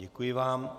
Děkuji vám.